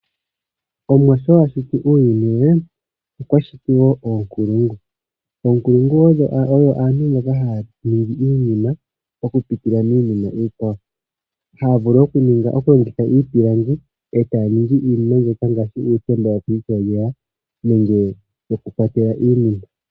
Omuwa sho ashiti uuyuni we okwa shiti woo oonkulungu. Oonkulungu odho aantu mboka haya ningi iinima okupitila miinima iikwawo. Ohaya vulu okulongitha iipilangi etaya ningi iinima ngaashi yokukwatelwa iinima.